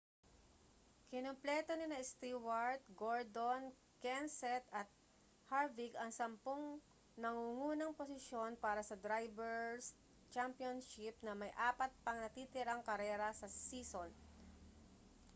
kinumpleto nina stewart gordon kenseth at harvick ang sampung nangungunang posisyon para sa drivers' championship na may apat pang natitirang karera sa season